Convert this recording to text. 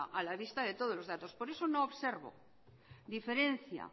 a la vista de todos los datos por eso no observo diferencia